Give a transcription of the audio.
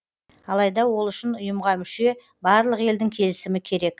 алайда ол үшін ұйымға мүше барлық елдің келісімі керек